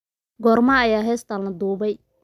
goorma ayaa heestan la duubay